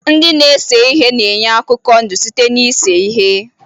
Ndị na-ese ihe na-enye akụkọ ndụ site na ise ihe.